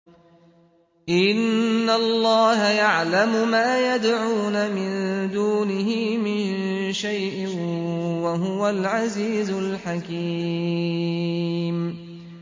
إِنَّ اللَّهَ يَعْلَمُ مَا يَدْعُونَ مِن دُونِهِ مِن شَيْءٍ ۚ وَهُوَ الْعَزِيزُ الْحَكِيمُ